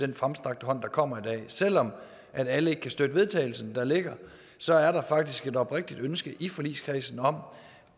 den fremstrakte hånd der kommer i dag selv om alle ikke kan støtte vedtagelse der ligger så er der faktisk et oprigtigt ønske i forligskredsen om